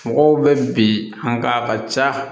Mɔgɔw bɛ bi haa